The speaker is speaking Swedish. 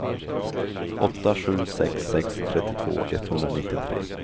åtta sju sex sex trettiotvå etthundranittiotre